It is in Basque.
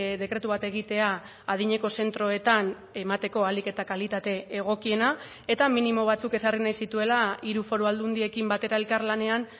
dekretu bat egitea adineko zentroetan emateko ahalik eta kalitate egokiena eta minimo batzuk ezarri nahi zituela hiru foru aldundiekin batera elkarlanean